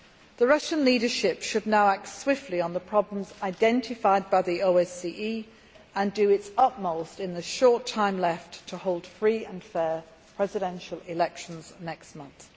The Russian leadership should now act swiftly on the problems identified by the OSCE, and do its utmost in the short time left to hold free and fair presidential elections next month.